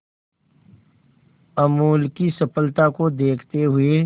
अमूल की सफलता को देखते हुए